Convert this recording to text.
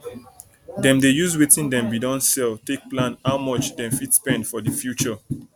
dem dey use wetin dem bin don sell take plan how much dem fit spend for the future